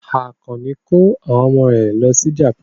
Àkànní ko àwọn ọmọ rẹ̀ lọ sí Japan.